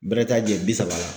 Bɛrɛ t'a jɛn bi saba la.